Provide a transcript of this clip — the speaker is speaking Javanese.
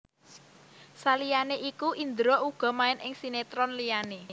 Saliyané iku Indra uga main ing sinetron liyané